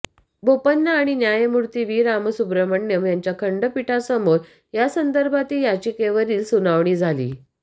बोपन्ना आणि न्यायमूर्ती व्ही रामसुब्रमण्यम यांच्या खंडपीठासमोर यासंदर्भातील याचिकेवरील सुनावणी झाली